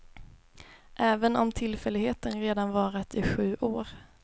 Även om tillfälligheten redan varat i sju år.